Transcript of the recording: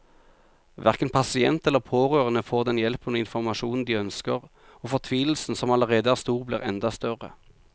Hverken pasient eller pårørende får den hjelpen og informasjonen de ønsker, og fortvilelsen som allerede er stor, blir enda større.